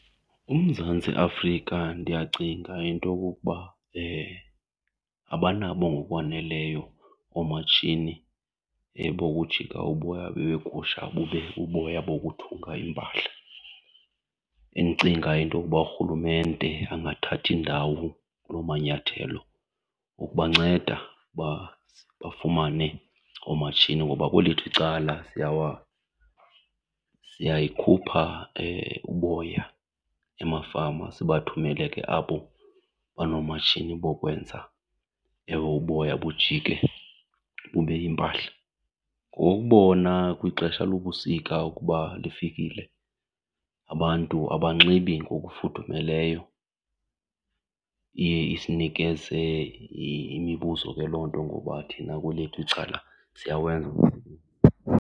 UMzantsi Afrika ndiyacinga into yokokuba abanabo ngokwaneleyo omatshini bokujika uboya begusha bube buboya bokuthunga iimpahla. Endicinga into yoba urhulumente angathatha indawo kuloo manyathelo ukubanceda baze bafumane omatshini. Ngoba kwelethu icala siyayikhupha uboya emafama sibathumele ke abo banoomatshini bokwenza ewe uboya bujike bube yimpahla. Ngokubona kwixesha lobusika ukuba lifikile abantu abanxibi ngokufudumeleyo iye isinikeze imibuzo ke loo nto ngoba thina kwelethu icala siyawenza umsebenzi.